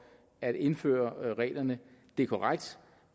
at indføre reglerne det er korrekt